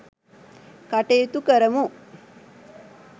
කටයුතු කරමු .